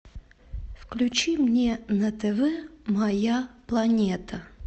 включи мне на тв моя планета